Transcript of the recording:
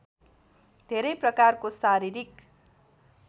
धेरै प्रकारको शारीरिक